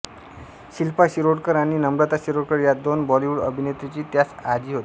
शिल्पा शिरोडकर आणि नम्रता शिरोडकर या दोन बॉलिवूड अभिनेत्रींची त्यास आजी होत्या